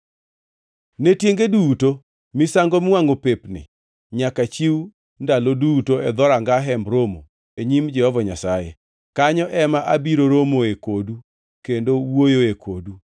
“Ne tienge duto, misango miwangʼo pep ni nyaka chiw ndalo duto e dhoranga Hemb Romo e nyim Jehova Nyasaye. Kanyo ema abiro romoe kodu kendo wuoyoe kodu;